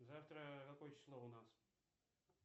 завтра какое число у нас